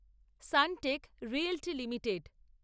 Suntech Realty limited